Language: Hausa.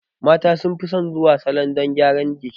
Mata sun fi son zuwa salon don gyaran jiki